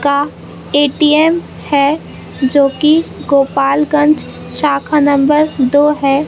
का ए_टी_एम है जो कि गोपालगंज शाखा नंबर दो है।